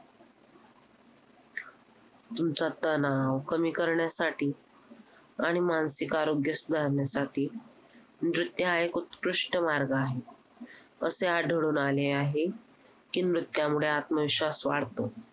Brown lp lp असे प्रकार असतात त्यानंतर rejection selection rejection असतं आणि त्यामध्ये